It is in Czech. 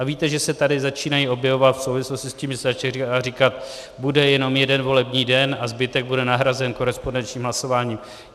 A víte, že se tady začínají objevovat v souvislosti s tím, že se začalo říkat: bude jenom jeden volební den a zbytek bude nahrazen korespondenčním hlasováním.